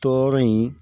Tɔɔrɔ in